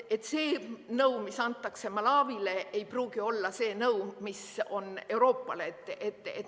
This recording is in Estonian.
See nõu, mis antakse Malawile, ei pruugi olla see nõu, mis on Euroopale.